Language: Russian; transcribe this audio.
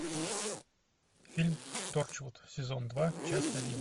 фильм торчвуд сезон два часть один